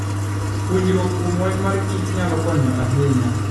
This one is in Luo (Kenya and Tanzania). Puonjruok kuom wach kichnyalo konyo ahinya.